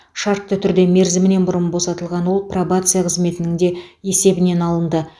шартты түрде мерзімінен бұрын босатылған ол пробация қызметінің де есебінен алынды